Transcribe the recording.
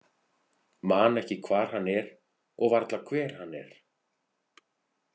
Man ekki hvar hann er og varla hver hann er.